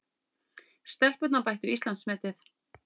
Stelpurnar bættu Íslandsmetið